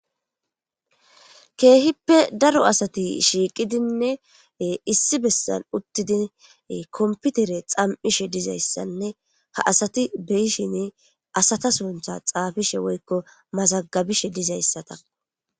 Keehippe daro asati shiiqidinne issi bessan uttidi komputere xam7ishe dizayssanne ha asati beyishin asata suntha xaafishe woykko mazagabishe dizayssa takko